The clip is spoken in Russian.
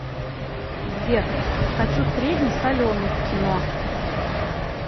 сбер хочу средний соленый к кино